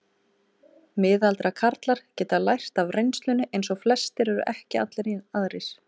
Miðaldra karlar geta lært af reynslunni eins og flestir ef ekki allir aðrir.